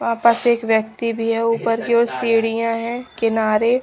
वापस एक व्यक्ति भी है। ऊपर की ओर सीडियां है किनारे--